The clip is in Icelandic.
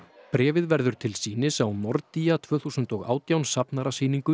bréfið verður til sýnis á tvö þúsund og átján